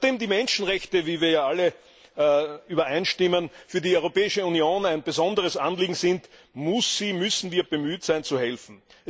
Nachdem die Menschenrechte wie wir ja alle übereinstimmen für die Europäische Union ein besonderes Anliegen sind, müssen wir bemüht sein, zu helfen.